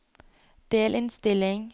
delinnstilling